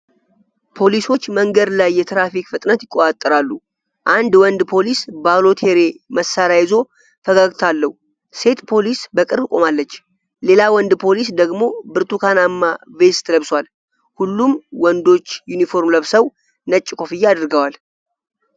ፖሊሶች መንገድ ላይ የትራፊክ ፍጥነት ይቆጣጠራሉ። አንድ ወንድ ፖሊስ ባሎቴሪ መሳሪያ ይዞ ፈገግታ አለው። ሴት ፖሊስ በቅርብ ቆማለች። ሌላ ወንድ ፖሊስ ደግሞ ብርቱካናማ ቬስት ለብሷል። ሁሉም ወንዶች ዩኒፎርም ለብሰው ነጭ ኮፍያ አድርገዋል።